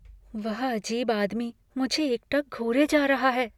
वह अजीब आदमी मुझे एकटक घूरे जा रहा है।